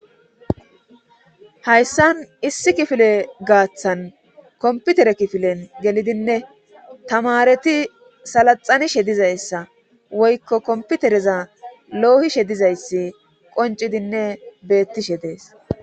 hayssan issi kifile gaaththan komputere kifilen gelidinne tamareti salaxanishe dizayssa woykko komputereza loohishe dizayssi qoncidinne beettishe dees